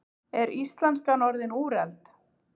Er íslenskan orðin úrelt?